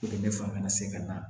ne fanga segin na